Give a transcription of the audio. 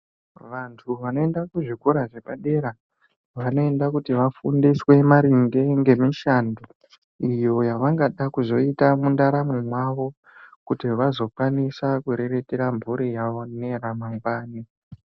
Vantu vanoenda kuzvikora zvepadera vanoenda kuti vafundiswe maringe ngemishando iyo yavangada kuzoita mundaramo mwawo kuti vazokwanisa kuriritira mphuri yawo neyamangwani.